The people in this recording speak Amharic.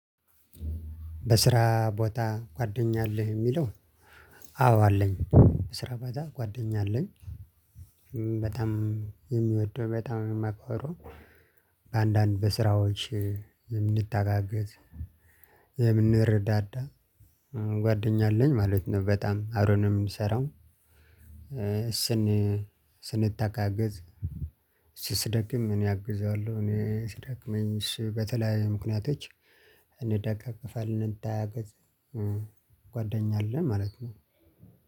በስራ ቦታ ጓደኛ አለህ የሚለው? አዎ አለኝ በስራ ቦታ ጓደኛ አለኝ። በጣም የምወደው በጣም የማከብረው። በአንዳንድ በስራዎች የምንተጋገዝ የምንረዳዳ ጓደኛ አለኝ ማለት ነው በጣም አብረን ነው የምንሰራው። ስን ስንተጋገዝ እሱ ሲደግም እኔ አግዘዋለሁ እኔ ሲደክመኝ እሱ በተለያዩ ምክንያቶች እንደጋገፋለን እንተጋገዝ። ጓደኛ አለኝ ማለት ነው።